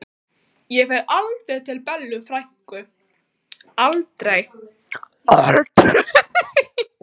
Ég fer aldrei til Bellu frænku, aldrei, aldrei.